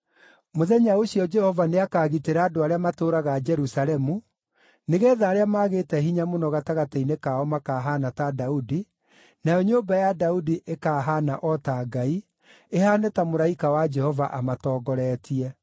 Mũthenya ũcio Jehova nĩakagitĩra andũ arĩa matũũraga Jerusalemu, nĩgeetha arĩa maagĩte hinya mũno gatagatĩ-inĩ kao makahaana ta Daudi, nayo nyũmba ya Daudi ĩkahaana o ta Ngai, ĩhaane ta mũraika wa Jehova amatongoretie.